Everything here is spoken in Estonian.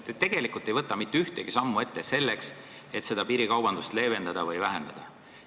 Te tegelikult ei võta mitte ühtegi sammu ette, et piirikaubandust vähendada.